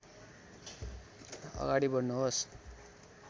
अगाडि बढ्नुहोस्